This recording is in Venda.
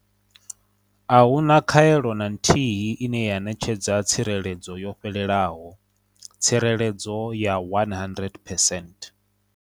A hu na khaelo na nthihi ine ya ṋetshedza tsireledzo yo fhelelaho tsireledzo ya 100 percent.